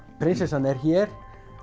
prinsessan er hér